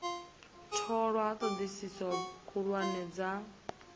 tholwa ha thodisiso khuhulwane dza